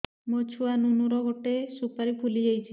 ମୋ ଛୁଆ ନୁନୁ ର ଗଟେ ସୁପାରୀ ଫୁଲି ଯାଇଛି